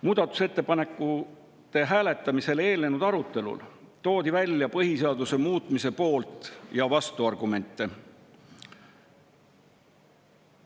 Muudatusettepanekute hääletamisele eelnenud arutelul toodi välja põhiseaduse muutmise poolt‑ ja vastuargumente.